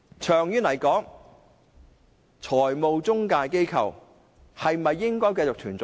長遠而言，中介公司是否應該繼續存在呢？